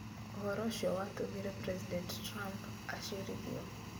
Ũhoro ũcio nĩ watũmire President Trump acirithio.